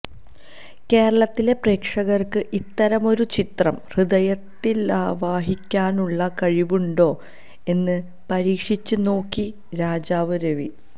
കേരളത്തിലെ പ്രേക്ഷകര്ക്ക് ഇത്തരമൊരു ചിത്രം ഹൃദയത്തിലാവാഹിക്കാനുള്ള കഴിവുണ്ടോ എന്ന് പരീക്ഷിച്ചുനോക്കി രാജീവ് രവി